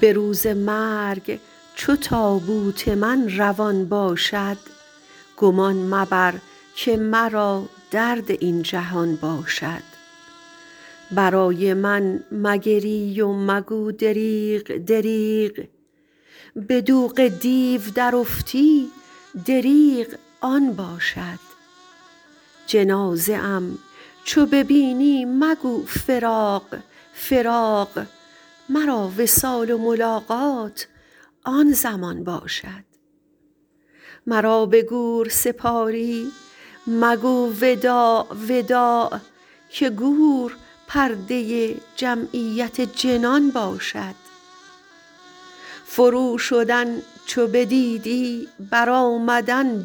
به روز مرگ چو تابوت من روان باشد گمان مبر که مرا درد این جهان باشد برای من مگری و مگو دریغ دریغ به دوغ دیو درافتی دریغ آن باشد جنازه ام چو ببینی مگو فراق فراق مرا وصال و ملاقات آن زمان باشد مرا به گور سپاری مگو وداع وداع که گور پرده جمعیت جنان باشد فروشدن چو بدیدی برآمدن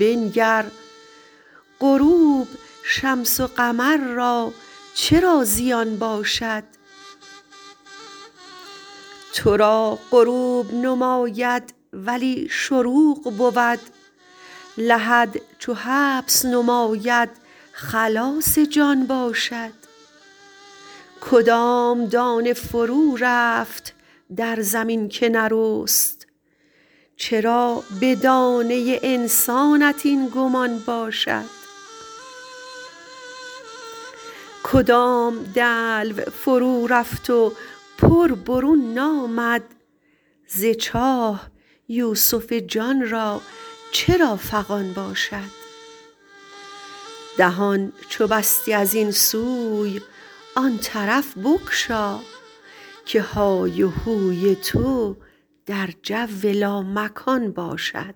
بنگر غروب شمس و قمر را چرا زیان باشد تو را غروب نماید ولی شروق بود لحد چو حبس نماید خلاص جان باشد کدام دانه فرورفت در زمین که نرست چرا به دانه انسانت این گمان باشد کدام دلو فرورفت و پر برون نامد ز چاه یوسف جان را چرا فغان باشد دهان چو بستی از این سوی آن طرف بگشا که های هوی تو در جو لامکان باشد